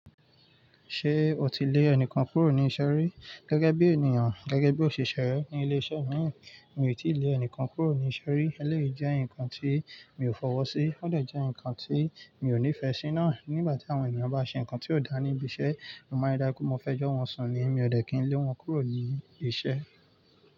Ṣé o ti lé ẹnìkan kúrò ní iṣẹ́ rí? Gẹ́gẹ́ bí ènìyàn, gẹ́gẹ́ bí òṣìṣẹ́ rẹ ní ilé-iṣẹ́ mi, mi ò tíì lé ẹnìkan kúrò ní iṣẹ́ rí. Elẹ́yìí jẹ́ nǹkan tí mi ò fọwọ́ sí, ó dà jẹ́ nǹkan tí mi ò nífẹ̀ẹ́ síná. Nígbà tí àwọn ènìyàn bá ṣe nǹkan tí ò dáa níbi iṣẹ́, mo máa ń dá ikú mo fẹ́ jọ́ wọn sùn ni, mi ò dẹ̀ kí n lé wọn kúrò ní iṣẹ́.